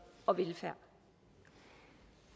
og velfærd